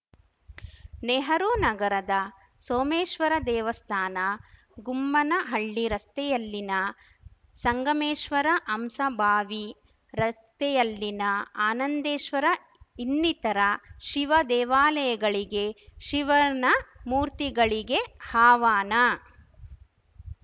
ನೆಹರು ನಗರದ ಸೋಮೇಶ್ವರ ದೇವಸ್ಥಾನ ಗುಮ್ಮನಹಳ್ಳಿ ರಸ್ತೆಯಲ್ಲಿನ ಸಂಗಮೇಶ್ವರ ಹಂಸಭಾವಿ ರಸ್ತೆಯಲ್ಲಿನ ಆನಂದೇಶ್ವರ ಇನ್ನಿತರ ಶಿವ ದೇವಾಲಯಗಳಿಗೆ ಶಿವನ ಮೂರ್ತಿಗಳಿಗೆ ಹಾವನ